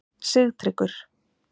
Sigtryggur